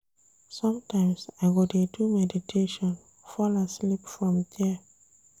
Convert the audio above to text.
Sometimes I go dey do meditation fall asleep from there.